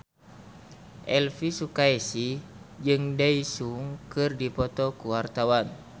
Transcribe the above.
Elvi Sukaesih jeung Daesung keur dipoto ku wartawan